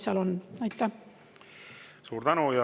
Suur tänu!